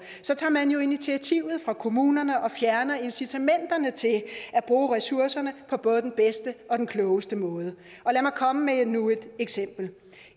tager man jo initiativet fra kommunerne og fjerner incitamenterne til at bruge ressourcerne på både den bedste og den klogeste måde lad mig komme med endnu et eksempel